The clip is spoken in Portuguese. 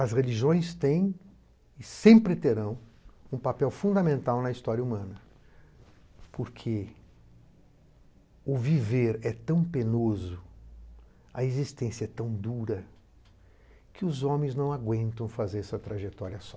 As religiões têm e sempre terão um papel fundamental na história humana, porque o viver é tão penoso, a existência é tão dura, que os homens não aguentam fazer essa trajetória só.